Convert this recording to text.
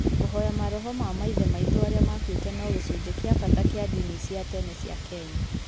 Kũhoya maroho na maithe maitũ arĩa makuĩte no gĩcunjĩ kĩa bata kĩa ndini cia tene cia Kenya.